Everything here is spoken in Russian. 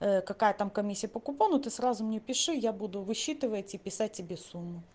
какая там комиссия по купону ты сразу мне пиши я буду высчитывать и писать тебе сон